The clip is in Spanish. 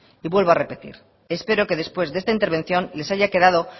y vuelvo a repetir espero que después de esta intervención les haya quedado